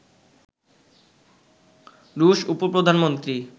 রুশ উপ-প্রধানমন্ত্রী